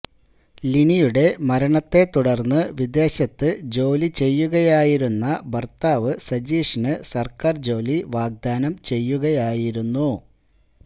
ലിനിയുടെ മരണത്തെ തുടർന്ന് വിദേശത്ത് ജോലി ചെയ്യുകയായിരുന്ന ഭർത്താവ് സജീഷിന് സർക്കാർ ജോലി വാഗ്ദാനം ചെയ്യുകയായിരുന്നു